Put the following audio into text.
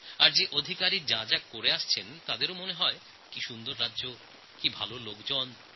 যে আধিকারিকরা ওখানে যান তাঁরাও বলেন কত সুন্দর এই রাজ্যগুলো লোকেরা কত ভালো